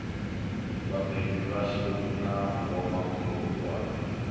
vhabebi vhashu na vhomakhulu washu